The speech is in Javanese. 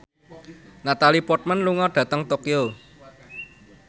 Natalie Portman lunga dhateng Tokyo